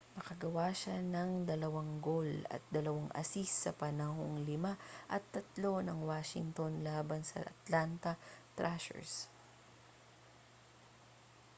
nakagawa siya ng 2 goal at 2 assist sa panalong 5-3 ng washington laban sa atlanta thrashers